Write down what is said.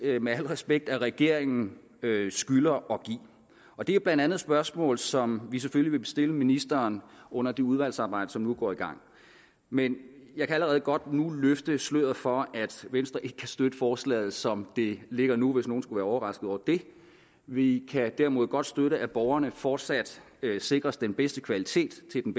med al respekt at regeringen skylder at give og det er blandt andet spørgsmål som vi selvfølgelig vil stille ministeren under det udvalgsarbejde som nu går i gang men jeg kan allerede godt nu løfte sløret for at venstre ikke kan støtte forslaget som det ligger nu hvis nogen skulle være overrasket over det vi kan derimod godt støtte at borgerne fortsat sikres den bedste kvalitet til den